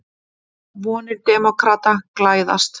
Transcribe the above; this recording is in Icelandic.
Vonir demókrata glæðast